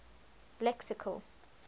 lexical